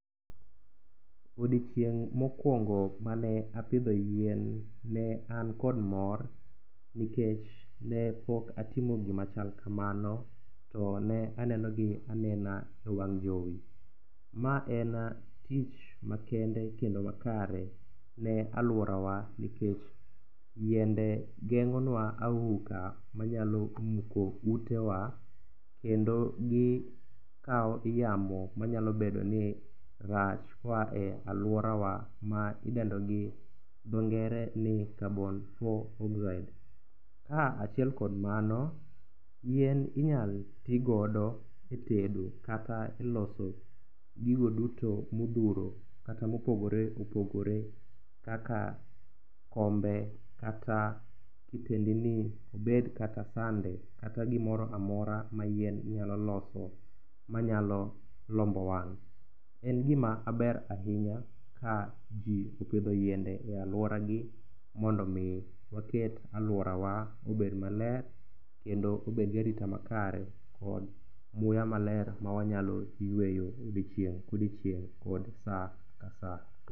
Odiechieng' mokwongo mane apidho yien ne an kod mor nikech ne pok atimo gima chal kamano to ne enenogi anena e wang' jowi. Ma en tich makende kendo makare, ne alwora wa, nikech yiende geng'o nwa auka manyalo muko utewa, kendo gikawo yamo manyalo bedo ni rach, koa e alworawa ma idendo gi dho ngere ni carbon four oxide[ca] ka achiel kod mano, yien inyalo ti godo e tedo kata e loso gigo duto modhuro kata mopogore opogore kaka kombe, kata kitendni, obed kata sande kata gimoro amora ma yien nyalo loso manayalo lombo wang'. En gima ber ahinya, ka opidho yiende e alworagi mondo omi waket alworawa obed maler kendo obed gi arita makare kod muya maler ma wanyalo yweyo odiechieng' ka odiechieng' kod sa ka sa.